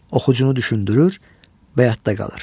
Oxucunu düşündürür və yadda qalır.